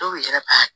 Dɔw yɛrɛ b'a